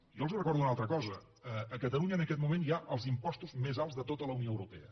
jo els recordo una altra cosa a catalunya en aquest moment hi ha els impostos més alts de tota la unió europea